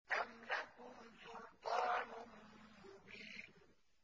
أَمْ لَكُمْ سُلْطَانٌ مُّبِينٌ